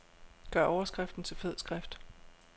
Gør overskriften til fed skrift.